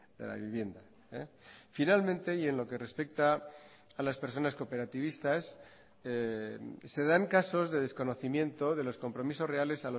de la vivienda finalmente y en lo que respecta a las personas cooperativistas se dan casos de desconocimiento de los compromisos reales